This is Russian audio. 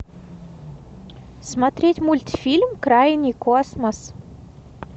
смотреть мультфильм крайний космос